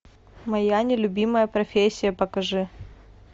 моя нелюбимая профессия покажи